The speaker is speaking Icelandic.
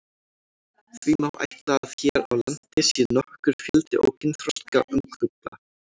Því má ætla að hér á landi sé nokkur fjöldi ókynþroska ungfugla.